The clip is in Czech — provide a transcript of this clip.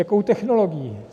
Jakou technologií?